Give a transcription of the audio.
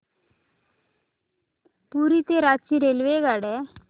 पुरी ते रांची रेल्वेगाड्या